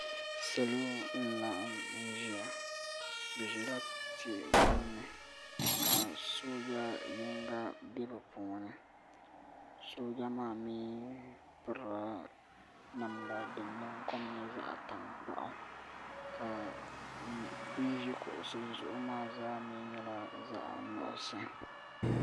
Salo n-laɣim n-ʒiya bɛ ʒila tia ɡbunni ka sooja yiŋɡa be bɛ puuni sooja maa mi pirila namda din kom nyɛ zaɣ' taŋkpaɣu ka bɛ ni ʒi kuɣusi zuɣu maa mi nyɛla zaɣ' nuɣiso